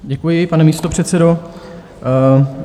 Děkuji, pane místopředsedo.